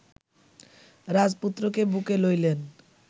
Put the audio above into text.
রাজপুত্রকে বুকে লইলেন